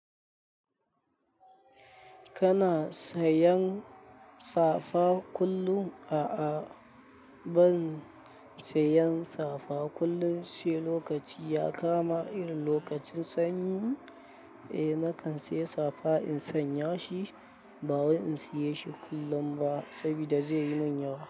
Kana sanya safa kullum? A'a, ban sanya safa kullum. Sai lokaci ya kama irin lokacin sanyi, eh nakan sayi safa in sanya shi, ba wai in siye shi kullum ba saboda zai yi min yawa.